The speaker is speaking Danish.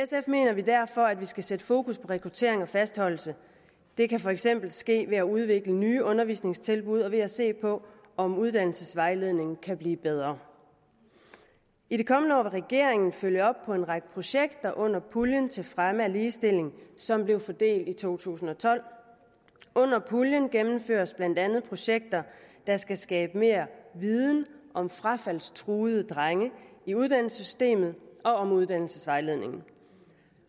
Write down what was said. mener vi derfor at vi skal sætte fokus på rekruttering og fastholdelse det kan for eksempel ske ved at udvikle nye undervisningstilbud og ved at se på om uddannelsesvejledningen kan blive bedre i det kommende år vil regeringen følge op på en række projekter under puljen til fremme af ligestilling som blev fordelt i to tusind og tolv under puljen gennemføres blandt andet projekter der skal skabe mere viden om frafaldstruede drenge i uddannelsessystemet og om uddannelsesvejledningen